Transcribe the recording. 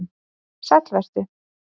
Sæll vert þú.